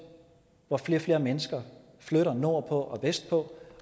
hvor flere og flere mennesker flytter nordpå og vestpå